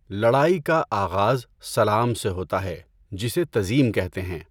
لڑائی کا آغاز سلام سے ہوتا ہے جسے تزیم کہتے ہیں۔